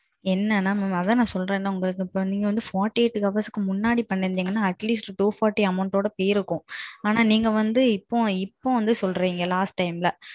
என்னன்னா mam அதான் mam சொல்றேன் இல்ல mam உங்களுக்கு நீங்க வந்து forty eight hoursக்கு முன்னாடி பண்ணி இத்தீங்கனா, atleast two forty amount ஓட போயிருக்கும். ஆனான் வந்து நீங்க இப்போ இப்போ வந்து சொல்றீங்க last timeல.